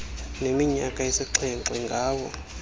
neminyaka esixhenxe ngawo